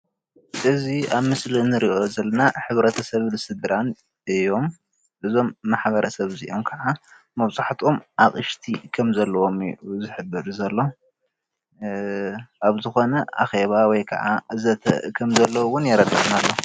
ሕዚ ኣብ ምስሊ እንሪኦ ዘለና ሕብረተሰብን ስድራን እዩ፡፡ እዞም ማሕበረሰብ እዚኦም ከዓ ኣቅሽቲ ከም ዘለዎም እዩ ዝሕብር ዘሎ፡፡ ኣብ ዝኮነ ኣኬባ ወይ ከዓ ዘተ እውን ከም ዘለዉ የርድእ፡፡